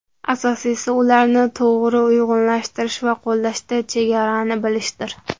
Asosiysi ularni to‘g‘ri uyg‘unlashtirish va qo‘llashda chegarani bilishdir.